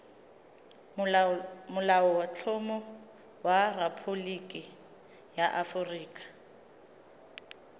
molaotlhomo wa rephaboliki ya aforika